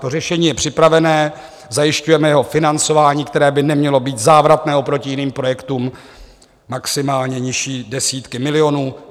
To řešení je připravené, zajišťujeme jeho financování, které by nemělo být závratné oproti jiným projektům, maximálně nižší desítky milionů.